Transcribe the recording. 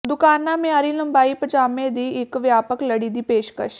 ਦੁਕਾਨਾ ਮਿਆਰੀ ਲੰਬਾਈ ਪਜਾਮੇ ਦੀ ਇੱਕ ਵਿਆਪਕ ਲੜੀ ਦੀ ਪੇਸ਼ਕਸ਼